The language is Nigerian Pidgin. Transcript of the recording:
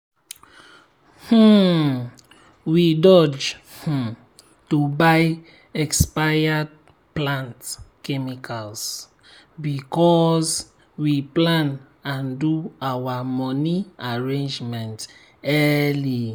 um we dodge um to buy expired plant chemicals because we plan and do our moni arrangement early.